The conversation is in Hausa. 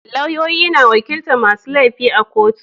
Lauyoyi na wakilta masu laifi a kotu